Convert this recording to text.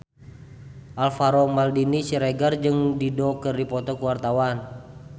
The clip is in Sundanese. Alvaro Maldini Siregar jeung Dido keur dipoto ku wartawan